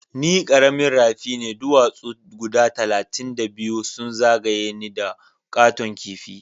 Ni karamin rafi ne ,duwasu guda talatin da biyu sun zagaya ni da katon kipi.